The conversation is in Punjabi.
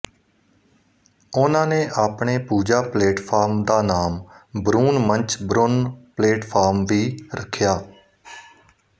ਉਨ੍ਹਾਂ ਨੇ ਆਪਣੇ ਪੂਜਾ ਪਲੇਟਫਾਰਮ ਦਾ ਨਾਮ ਬਰੂਨ ਮੰਚ ਬਰੁਨ ਪਲੇਟਫਾਰਮ ਵੀ ਰੱਖਿਆ